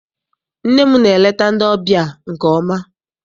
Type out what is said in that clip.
Nne m na-eleta ndị ọbịa nke ọma.